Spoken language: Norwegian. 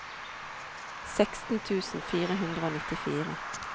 seksten tusen fire hundre og nittifire